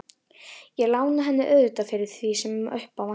Ég lána henni auðvitað fyrir því sem upp á vantar.